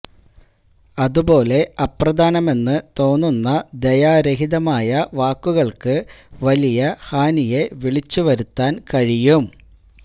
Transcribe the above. അതുപോലെ അപ്രധാനമെന്ന് തോന്നുന്ന ദയാരഹിതമായ വാക്കുകൾക്ക് വലിയ ഹാനിയെ വിളിച്ചുവരുത്താൻ കഴിയും